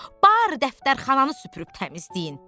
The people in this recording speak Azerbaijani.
Barı dəftərxananı süpürüb təmizləyin.